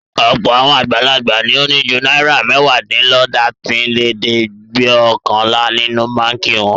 Ọ̀pọ̀ àwọn àgbàlagbà ni ó ní ju náírà mẹ́wàádínlọ́tàdínlẹ́ẹ̀dẹ́gbẹ̀ọkànlá nínú báńkì wọn.